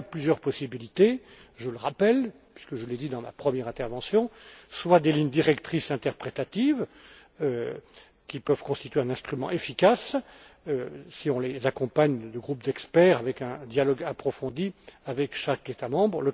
Il y a plusieurs possibilités, je le rappelle puisque je l'ai dit dans la première intervention, notamment des lignes directrices interprétatives, qui peuvent constituer un instrument efficace si on les accompagne de groupes d'experts avec un dialogue approfondi avec chaque État membre.